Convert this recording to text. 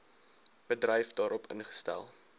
bedryf daarop ingestel